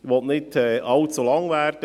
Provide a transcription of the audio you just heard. Ich will nicht allzu lange reden.